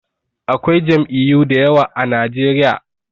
Akwai jam'iyu dayawa a najeriya